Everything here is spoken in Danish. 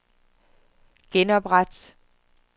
genopret